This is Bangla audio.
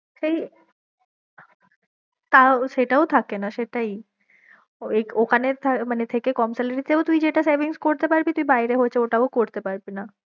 তাও সেটাও থাকে না সেটাই ঐ ওখানে মানে থেকে যা কম salary তেও তুই যেটা savings করতে পারবি তুই বায়েরে হয়তো ওটাও করতে পারবি না।